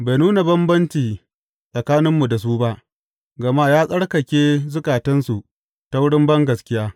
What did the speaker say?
Bai nuna bambanci tsakaninmu da su ba, gama ya tsarkake zukatansu ta wurin bangaskiya.